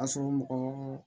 A sɔrɔ mɔgɔ